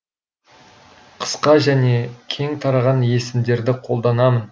қысқа және кең тараған есімдерді қолданамын